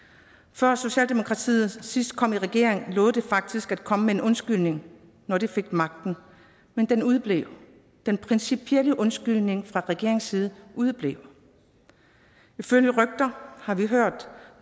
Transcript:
før socialdemokratiet sidst kom i regering lovede de faktisk at komme med en undskyldning når de fik magten men den udeblev den principielle undskyldning fra regeringens side udeblev ifølge rygter har vi hørt